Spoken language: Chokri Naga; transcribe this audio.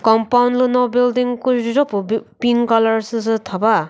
compound lüno building küzho püh p pink colour süsü thava.